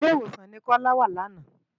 Ilé-Iwósán ni Kola wá làná